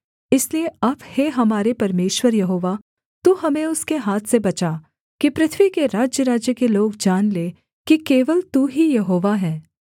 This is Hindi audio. इसलिए अब हे हमारे परमेश्वर यहोवा तू हमें उसके हाथ से बचा कि पृथ्वी के राज्यराज्य के लोग जान लें कि केवल तू ही यहोवा है